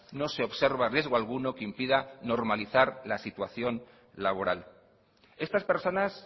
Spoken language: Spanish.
no se observa riesgo alguno que impida normalizar la situación laboral estas personas